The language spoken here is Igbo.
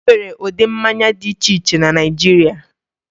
E nwere ụdị mmanya dị iche iche na Naịjirịa